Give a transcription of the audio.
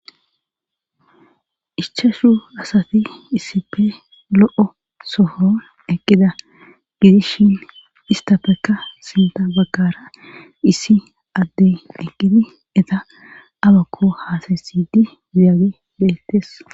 ichashu asati isippe lo'o sohon eqqida gidishin istafekka sinta bakara issi addey eqqidi eta abakko haasayssidi ziyage beettes